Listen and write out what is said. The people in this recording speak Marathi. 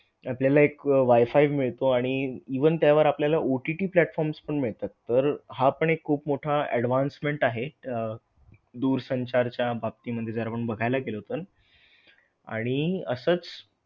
आपल्याला एक WI-FI मिळतो आणि even त्यावर आपल्याला OTT platforms पण मिळतात. तर हा पण एक खूप मोठा advancement आहे अह दूरसंचार च्या बाबतीमध्ये जर आपण बघायला गेलो तर, आणि असच,